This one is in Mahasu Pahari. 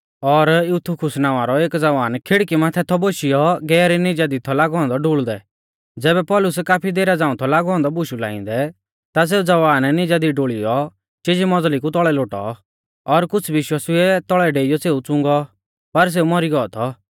और यूतुखुस नावां रौ एक ज़वान खिड़की माथै थौ बोशियौ गहरी निजा दी थौ लागौ औन्दौ डुल़ दै ज़ैबै पौलुस काफी देरा झ़ांऊ थौ लागौ औन्दौ बुशु लाइंदै ता सेऊ ज़वान निजा दी डुल़ीयौ चिजी मज़ली कु तौल़ै लोटौ और कुछ़ विश्वासिउऐ तौल़ै डेइयौ सेऊ च़ुंगौ पर सेऊ मौरी गौ थौ